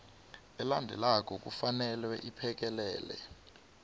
elandelako kufanele iphekelele